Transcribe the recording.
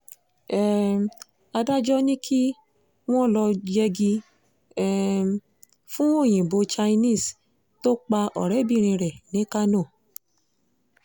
um adájọ́ ní kí wọ́n lọ́ọ́ yẹgi um fún òyìnbó chinese tó pa ọ̀rẹ́bìnrin rẹ̀ ní kánò